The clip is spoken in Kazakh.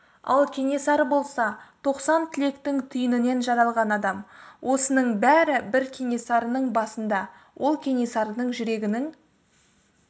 ал кенесары болса тоқсан тілектің түйінінен жаралған адам осының бәрі бір кенесарының басында ол кенесарының жүрегінің